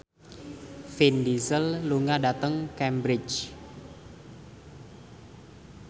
Vin Diesel lunga dhateng Cambridge